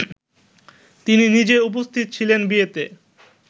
তিনি নিজে উপস্থিত ছিলেন বিয়েতে